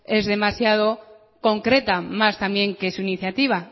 es demasiado concreta más también que su iniciativa